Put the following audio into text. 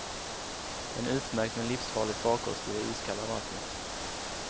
En utmärkt men livsfarlig farkost i det iskalla vattnet.